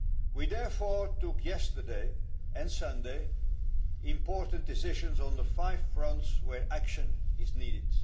We therefore took yesterday and on Sunday important decisions on the five fronts where action is needed.